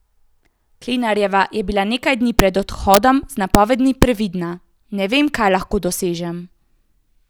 Klinarjeva je bila nekaj dni pred odhodom z napovedmi previdna: 'Ne vem, kaj lahko dosežem.